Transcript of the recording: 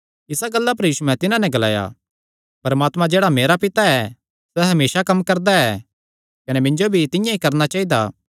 इसा गल्ला पर यीशुयैं तिन्हां नैं ग्लाया परमात्मा जेह्ड़ा मेरा पिता ऐ सैह़ हमेसा कम्म करदा ऐ कने मिन्जो भी तिंआं ई करणा चाइदा